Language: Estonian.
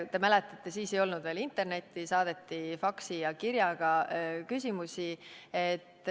Te mäletate, et siis ei olnud veel internetti, saadeti faksi ja kirjaga küsimusi.